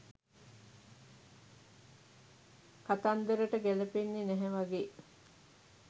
කතන්දරට ගැලපෙන්නෙ නැහැ වගේ.